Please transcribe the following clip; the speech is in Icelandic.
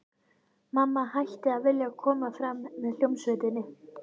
Mamma hætti að vilja koma fram með hljómsveitinni.